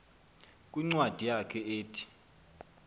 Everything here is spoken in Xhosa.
kwincwadi yakhe ethi